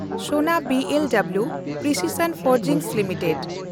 ᱥᱚᱱᱟ B L W precision forging limited